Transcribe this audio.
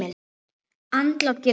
Andlát getur átt við